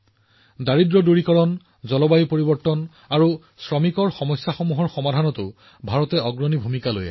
দৰিদ্ৰতা দূৰীকৰণ জলবায়ু পৰিৱৰ্তন আৰু শ্ৰমিক সম্পৰ্কীয় সমস্যা সমাধানৰ ক্ষেত্ৰতো ভাৰতে এক অগ্ৰণী ভূমিকা পালন কৰি আছে